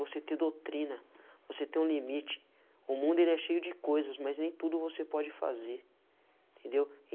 Você ter doutrina, você ter um limite, o mundo ele é cheio de coisas, mas nem tudo você pode fazer, entendeu?